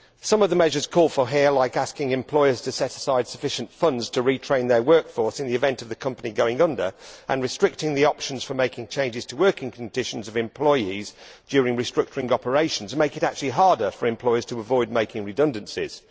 Some of the measures called for here, like asking employers to set aside sufficient funds to retrain their workforce in the event of the company going under and restricting the options for making changes to working conditions of employees during restructuring operations, make it actually harder for employers to avoid making redundancies.